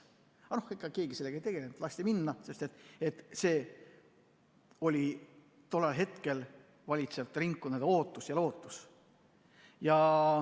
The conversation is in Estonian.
Keegi sellega ei tegelenud, lasti minna, sest see oli tol hetkel valitsevate ringkondade ootus ja lootus.